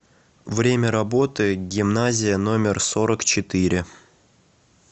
время работы гимназия номер сорок четыре